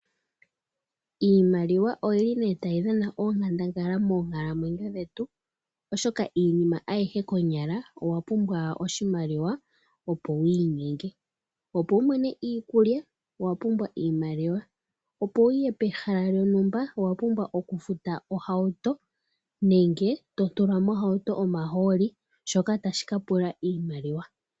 Iimaliwa oyi li ne tayi dhana onkandangala moonkalamwenyo dhetu, oshoka iinima ayihe konyala owa pumbwa oshimaliwa opo wiinyenge. Opo wumone iikulya owa pumbwa iimaliwa, opo wuye pehala lyontumba owa pumbwa okufuta ohauto nenge to tula mohauto omahooli shoka tashika pula iimaliwa.